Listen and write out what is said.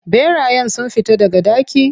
Ɓerayen sun fita daga daki?